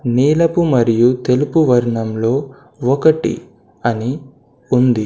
నీలపు మరియు తెలుపు వర్ణంలో ఒకటి అని ఉంది.